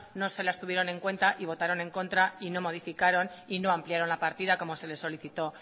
no se las tuvieron en cuenta y votaron en contra y no modificaron y no ampliaron la partida como se le solicitó